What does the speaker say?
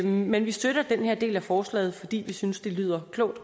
men vi støtter den her del af forslaget fordi vi synes det lyder klogt